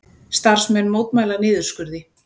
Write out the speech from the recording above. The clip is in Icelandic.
Starfsmenn mótmæla niðurskurði